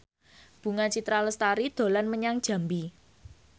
Bunga Citra Lestari dolan menyang Jambi